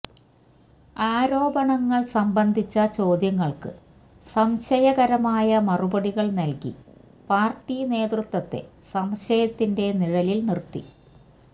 ആരോപണങ്ങള് സംബന്ധിച്ച ചോദ്യങ്ങള്ക്ക് സംശയകരമായ മറുപടികള് നല്കി പാര്ട്ടി നേതൃത്വത്തെ സംശയത്തിന്റെ നിഴലില് നിര്ത്തി